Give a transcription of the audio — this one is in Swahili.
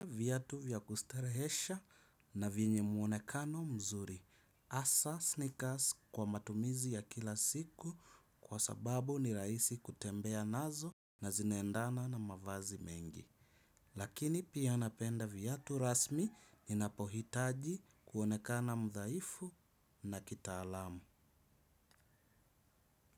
Viatu vya kustarehesha na vyenye mwonekano mzuri hasaa sneakers kwa matumizi ya kila siku. Kwa sababu ni rahisi kutembea nazo na zinaendana na mavazi mengi. Lakini pia napenda viatu rasmi. Ninapohitaji kuonekana mdhaifu na kitaalamu.